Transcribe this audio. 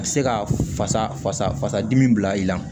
A bɛ se ka fasa fasa fasa dimi bila i la